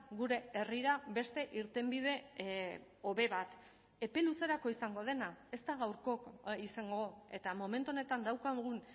gure herrira beste irtenbide hobe bat epe luzerako izango dena ez da gaurko izango eta momentu honetan daukagun